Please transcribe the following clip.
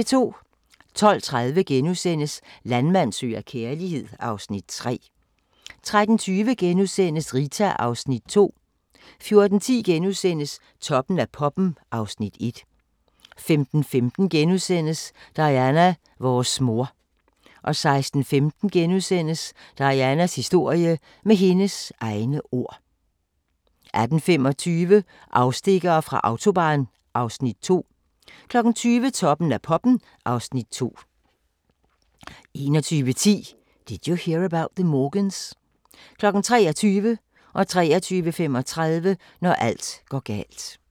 12:30: Landmand søger kærlighed (Afs. 3)* 13:20: Rita (Afs. 2)* 14:10: Toppen af poppen (Afs. 1)* 15:15: Diana - vores mor * 16:15: Dianas historie - med hendes egne ord * 18:25: Afstikkere fra Autobahn (Afs. 2) 20:00: Toppen af poppen (Afs. 2) 21:10: Did You Hear About the Morgans? 23:00: Når alt går galt 23:35: Når alt går galt